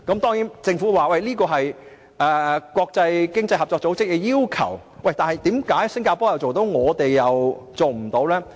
當然，政府說這是經濟合作與發展組織的要求，但為何新加坡做得到，我們卻做不到呢？